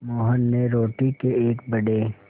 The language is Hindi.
मोहन ने रोटी के एक बड़े